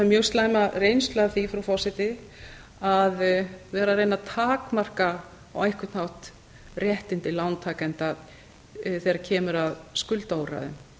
mjög slæma reynslu af því frú forseti að vera að reyna að takmarka á einhvern hátt réttindi lántakenda þegar kemur að skuldaúrræðum